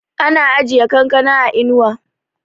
ana ajiye kankana a inuwa